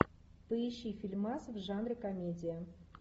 поищи фильмас в жанре комедия